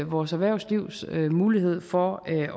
vores erhvervslivs mulighed for at